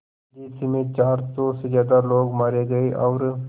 जिस में चार सौ से ज़्यादा लोग मारे गए और